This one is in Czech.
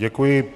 Děkuji.